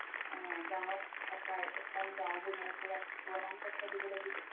আ গাওত থকাৰ এখন গাও বোঢ়াৰ পোৰা প্ৰমান পত্ৰ দিব লাগিব